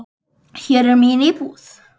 Hér er mín íbúð!